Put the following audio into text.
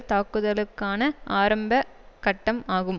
தாக்குலுக்கான ஆரம்ப கட்டம் ஆகும்